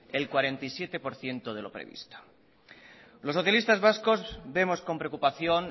el cuarenta y siete por ciento de lo previsto los socialista vascos vemos con preocupación